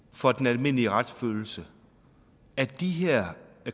for den almindelige retsfølelse at de her